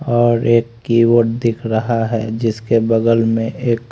और एक कीबोर्ड दिख रहा है जिसके बगल में एक--